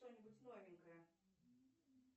что нибудь новенькое